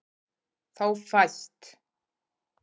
Þá fæst